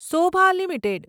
Sobha limited